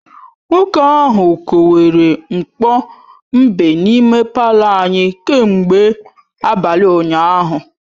Nwoke ahụ kowere mkpo mbe n’ime palọ anyị kemgbe abalị ụnyahụ